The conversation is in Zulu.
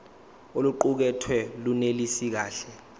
oluqukethwe lunelisi kahle